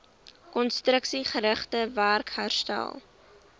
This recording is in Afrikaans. konstruksiegerigte werk herstel